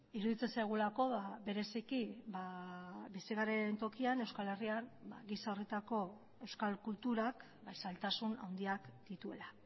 iruditzen zaigulako bereziki bizi garen tokian euskal herrian gisa horretako euskal kulturak zailtasun handiak dituela